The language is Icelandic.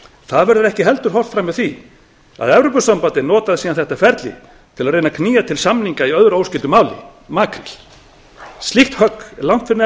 það verður ekki heldur horft fram hjá því að evrópusambandið notaði síðan þetta ferli til að reyna að knýja fram samninga í öðru óskyldu máli makríl slíkt högg er langt fyrir neðan